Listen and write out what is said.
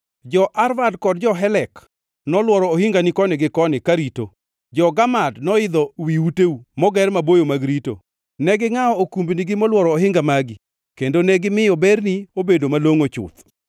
Jo-Arvad kod jo-Helek nolworo ohingani koni gi koni karito; Jo-Gamad noidho wi uteu moger maboyo mag rito. Ne gingʼawo okumbnigi molworo ohinga magi; kendo negimiyo berni obedo malongʼo chuth.